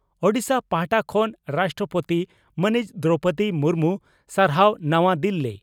ᱳᱰᱤᱥᱟ ᱯᱟᱦᱴᱟ ᱠᱷᱚᱱ ᱨᱟᱥᱴᱨᱚᱯᱳᱛᱤ ᱢᱟᱹᱱᱤᱡ ᱫᱨᱚᱣᱯᱚᱫᱤ ᱢᱩᱨᱢᱩ ᱥᱟᱨᱦᱟᱣ ᱱᱟᱣᱟ ᱫᱤᱞᱤ